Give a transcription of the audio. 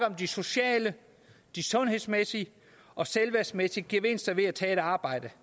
om de sociale sundhedsmæssige og selvværdsmæssige gevinster ved at tage et arbejde